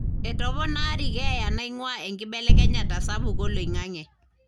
etoponari keeya naingua enkibelekenyata sapuk oloingange.